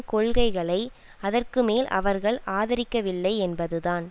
கொள்கைகளை அதற்கு மேல் அவர்கள் ஆதரிக்கவில்லை என்பதுதான்